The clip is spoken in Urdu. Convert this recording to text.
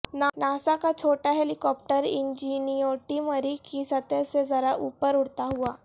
ناسا کا چھوٹا ہیلی کاپٹر انجینیوٹی مریخ کی سطح سے ذرا اوپر اڑتا ہوا